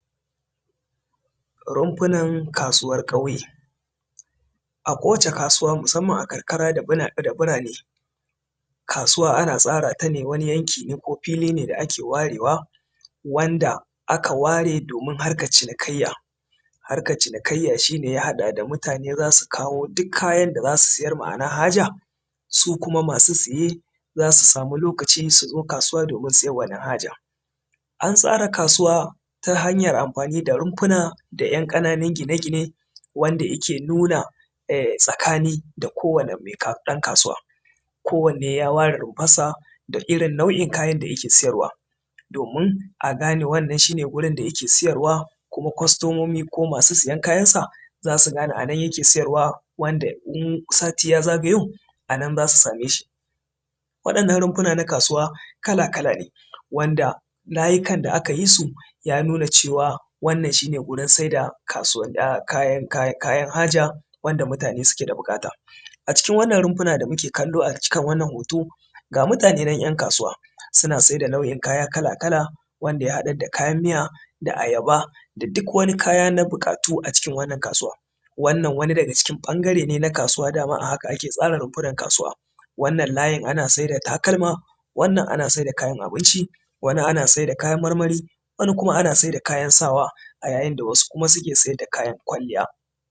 rumfunar kasuwar ƙauye a kowace kasuwa musamman a karkara da birane kasuwa ana tsara ta ne wani yanki ko fili ne da ake warewa wanda aka ware domin harkar cinikayya harkar cinikayya shi ne ya haɗa da mutane zasu kawo duk kayan da zasi siyar ma’ana haja su kuma masu siye zasu samu lokaci su zo kasuwa domin siyan wannan hajar an tsara kasuwa ta hanyar amfani da rumfuna da ‘yan ƙananun gine-gine wanda yake nuna tsakani da kowani ɗan kasuwa kowane ya ware rumfar sa da irin nau’in kayan da yake siyarwa domin a gane wannan shi ne gurin da yake siyarwa kuma kwastomomi ko masu siyan kayan sa zasu gane anan yake siyarwa wanda idan sati ya zagayo anan zasu same shi waɗannan rumfuna na kasuwa kala-kala ne wanda layika da aka yi su ya nuna cewa wannan shi ne gurin saida kasu kayan haja wanda mutane suke da buƙata a cikin wannan rumfuna da muke kallo a jikin wannan hoto ga mutane nan ‘yan kasuwa suna saida nau’in kaya kala-kala wanda ya haɗar da kayan miya da ayaba da duk wani kaya na buƙatu a cikin wannan kasuwa wannan wani daga cikin ɓangare ne na kasuwa dama a haka ake tsara rumfunar kasuwa wannan layin ana saida takalma wannan ana saida kayan abinci wani ana saida kayan marmari wani ana saida kayan sawa a yayin da wasu kuma ke saida kayan kwalliya